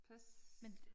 Pas